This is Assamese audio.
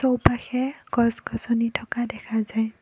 ওপাশে গছ গছনি থকা দেখা যায়।